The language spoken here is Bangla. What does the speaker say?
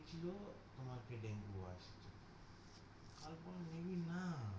কি ছিলো বলো